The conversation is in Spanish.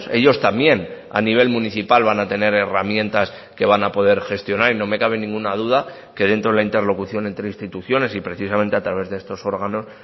ellos también a nivel municipal van a tener herramientas que van a poder gestionar y no me cabe ninguna duda que dentro de la interlocución entre instituciones y precisamente a través de estos órganos